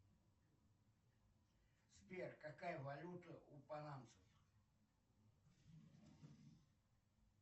сбер какая валюта у панамцев